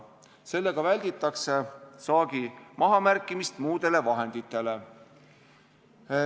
Sellega välditakse saagi mahamärkimist muudele vahenditele.